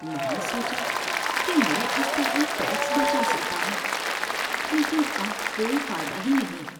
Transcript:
میں نے سوچا کہ میں اس طرح ٹیکس بچا سکتا ہوں، لیکن اب کوئی فائدہ ہی نہیں ہے۔